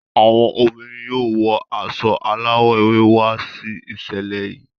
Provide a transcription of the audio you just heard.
Àwọn obìnrin yóò wọ aṣọ alawọ ewé wà si iṣẹlẹ yìí.